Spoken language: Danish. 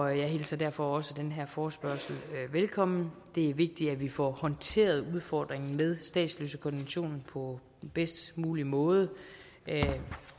jeg hilser derfor også den her forespørgsel velkommen det er vigtigt at vi får håndteret udfordringen med statsløsekonventionen på bedst mulig måde